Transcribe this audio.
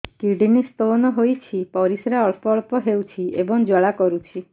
kidney stone ହୋଇଛି ପରିସ୍ରା ଅଳ୍ପ ଅଳ୍ପ ହେଉଛି ଏବଂ ଜ୍ୱାଳା କରୁଛି